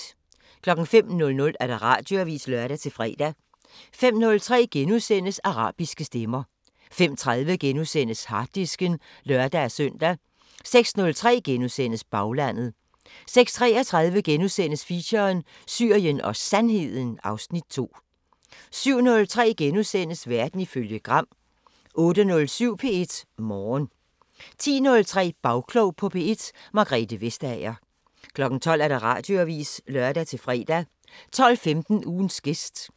05:00: Radioavisen (lør-fre) 05:03: Arabiske Stemmer * 05:30: Harddisken *(lør-søn) 06:03: Baglandet * 06:33: Feature: Syrien og Sandheden (Afs. 2)* 07:03: Verden ifølge Gram * 08:07: P1 Morgen 10:03: Bagklog på P1: Margrethe Vestager 12:00: Radioavisen (lør-fre) 12:15: Ugens gæst